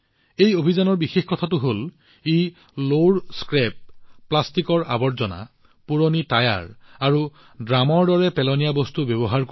এই অভিযানৰ বিশেষ কথাটো হল ই পেলনীয়া লো প্লাষ্টিকৰ আৱৰ্জনা পুৰণি টায়াৰ আৰু ড্ৰামৰ দৰে আৱৰ্জনা বস্তু ব্যৱহাৰ কৰা হয়